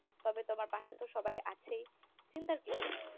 তবে তোমার পাশে তো সবাই আছেই চিন্তার কিছুই নেই